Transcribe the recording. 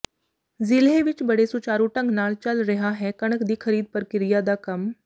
ਜ਼ਿਲ੍ਹੇ ਵਿੱਚ ਬੜੇ ਸੁਚਾਰੂ ਢੰਗ ਨਾਲ ਚੱਲ ਰਿਹਾ ਹੈ ਕਣਕ ਦੀ ਖਰੀਦ ਪ੍ਰਕਿਰਿਆ ਦਾ ਕੰਮ